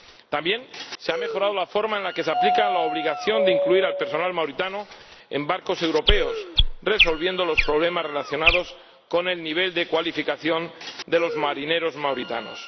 También se ha mejorado la forma en la que se aplica la obligación de incluir al personal mauritano en barcos europeos, resolviendo los problemas relacionados con el nivel de cualificación de los marineros mauritanos.